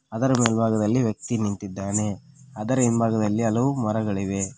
ಅದರ ಬಲಭಾಗದಲ್ಲಿ ವ್ಯಕ್ತಿ ನಿಂತಿದ್ದಾನೆ ಅದರ ಹಿಂಬಾಗದಲ್ಲಿ ಹಲವು ಮರಗಳಿವೆ.